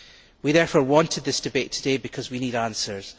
We therefore wanted this debate today because we need answers.